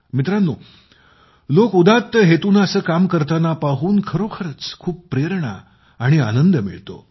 मित्रांनो लोक उदात्त हेतूने असे काम करताना पाहून खरोखरच खूप प्रेरणा आणि आनंद मिळतो